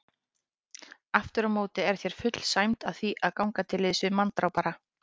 Afturámóti er þér full sæmd að því að ganga til liðs við manndrápara.